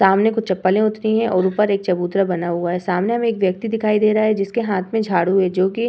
सामने कुछ चप्पलें उतरी हैं और ऊपर एक चबूतरा बना हुआ है। सामने हमें एक व्यक्ति दिखाई दे रहा है जिसके हाथ में झाड़ू है जो कि --